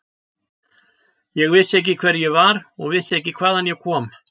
Ég vissi ekki hver ég var og vissi ekki hvaðan ég kom.